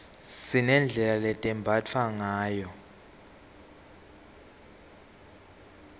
sinedlela letembatfwa ngayo